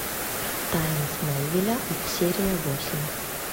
тайны смолвиля серия восемь